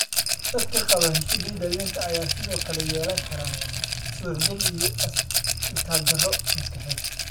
Dadka qaba HD dhallinta ayaa sidoo kale yeelan kara suuxdin iyo itaaldarro maskaxeed.